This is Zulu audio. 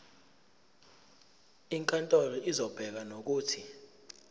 inkantolo izobeka nokuthi